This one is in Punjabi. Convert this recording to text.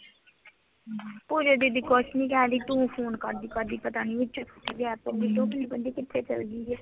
ਪੂਜਾ ਦੀਦੀ ਕੁਛ ਨੀ ਕਹਿਣ ਡੇਈ ਤੂੰ ਫੋਨ ਕਰਦੀ ਕਰਦੀ ਪਤਾ ਨੀ ਵਿਚ ਕਿਥੇ ਗਾਇਬ ਹੋ ਗਈ, ਤਾਂ ਉਹ ਪੁੱਛਦੀ ਪਏ ਸੀ ਕਿਥੇ ਚਲ ਗਈ ਇਹ?